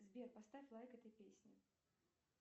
сбер поставь лайк этой песне